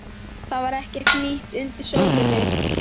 Það var ekkert nýtt undir sólinni.